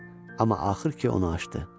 Amma axır ki, onu açdı.